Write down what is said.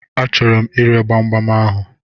A chọrọ m ire gbamgbam ahụ.